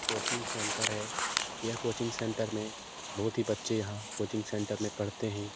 Coaching centre है यह coaching centre में बहुत ही बच्चे यहाँ कोचिंग सेंटर में पढ़ते हैं।